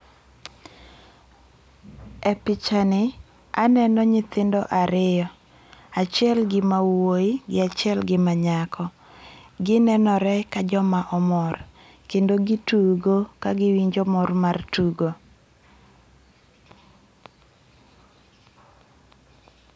E picha ni aneno nyithindo ariyo, achiel gi ma wuoyi gi achiel gi ma nyako. Gi nenore ka jo ma omor kendo gi tugo ka gi winjo mor mar tugo.